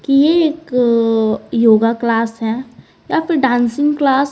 ये एक अ योगा क्लास है या फिर डांसिंग क्लास ।